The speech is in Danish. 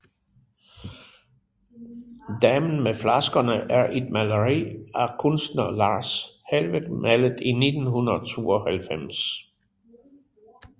Damen med flaskerne er et maleri af kunstneren Lars Helweg malet i 1992